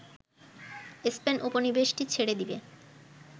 Spain উপনিবেশটি ছেড়ে দেবে